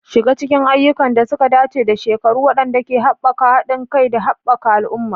Shiga cikin ayyukan da suka dace da shekaru waɗanda ke haɓaka haɗin kai da haɓaka al'umma.